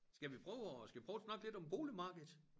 Skal vi prøve at skal vi prøve at snakke lidt om boligmarkedet?